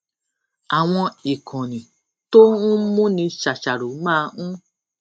àwọn ìkànnì tó ń múni ṣàṣàrò máa ń